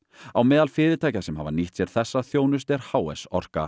á meðal fyrirtækja sem hafa nýtt sér þessa þjónustu er h s Orka